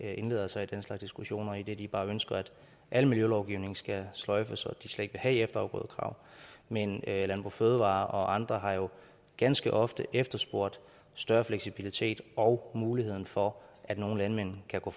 indlader sig i den slags diskussioner idet de bare ønsker at al miljølovgivning skal sløjfes og de slet ikke skal have efterafgrødekrav men landbrug fødevarer og andre har jo ganske ofte efterspurgt større fleksibilitet og muligheden for at nogle landmænd kan gå